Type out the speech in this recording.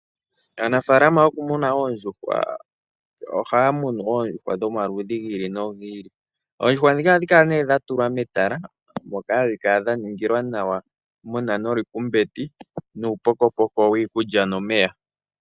Aanafaalama yoku muna oondjuhwa ohaya munu oondjuhwa dhomaludhi gi ili nogi ili, oondjuhwa dhika ohadhi kala nee dha tulwa metala moka hadhi kala dha ningilwa nawa, muna nolikumbeti nuupokopoko wiikulya nomeya.